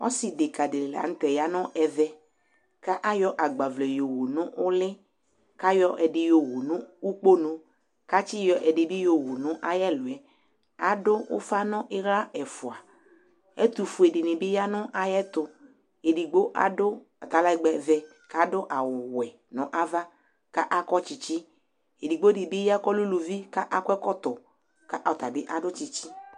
ɔse deka di lantɛ ya no ɛvɛ ko ayɔ agbavlɛ yowu no uli ko ayɔ ɛdi yowu no ukponu ko atsi yɔ ɛdi bi yowu no ayi ɛloɛ ado ufa no ala ɛfoa ɛto fue di ni bi ya no ayɛto edigbo ado atalɛgbɛ vɛ ko ado awu wɛ no ava ko akɔ tsitsi edigbo di bi ya ko ɔlɛ uluvi ko akɔ ɛkɔtɔ ko ɔtabi ado tsitsi